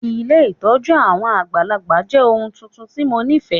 Ilé ìtójú àwon àgbàlagbà jẹ oun tuntun ti mo nifẹ.